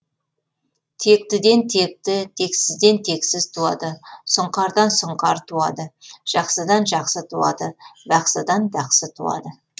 тектіден текті тексізден тексіз туады сұңқардан сұңқар туады жақсыдан жақсы туады бақсыдан бақсы туады